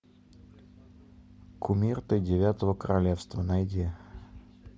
кумир тридевятого королевства найди